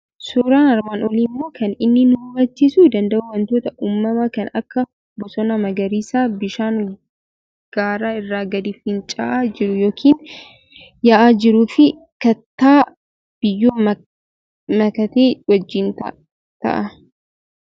Suuraan armaan olii immoo kan inni nu hubachiiisuu danda'u wantoota uumamaa kan akka bosona magariisaa, bishaan gaara irraa gadi fincaa'aa jiru yookiin yaa'aa jiruu fi kattaa biyyoo makate wajjin ta'a.